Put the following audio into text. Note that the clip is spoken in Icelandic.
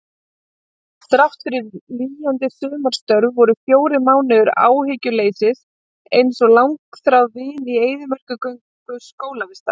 Þráttfyrir lýjandi sumarstörf voru fjórir mánuðir áhyggjuleysis einsog langþráð vin í eyðimerkurgöngu skólavistar.